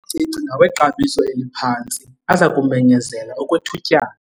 La macici ngawexabiso eliphantsi aza kumenyezela okwethutyana.